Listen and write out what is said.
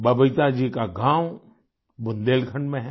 बबीता जी का गाँव बुंदेलखंड में है